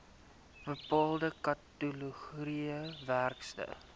bepaalde kategorieë werkers